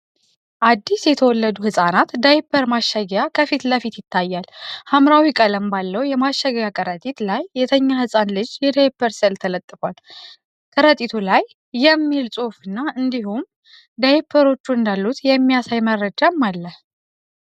አዲስ የተወለዱ ሕፃናት ዳይፐር ማሸጊያ ከፊት ለፊት ይታያል። ሐምራዊ ቀለም ባለው የማሸጊያ ከረጢት ላይ፣ የተኛ ሕፃን ልጅ የዳይፐር ስእል ተለጥፏል። ከረጢቱ ላይ "canbebe Comfort Dry" የሚል ጽሑፍና እንዲሁም ፬፬ ዳይፐሮች እንዳሉት የሚያሳይ መረጃም አለ።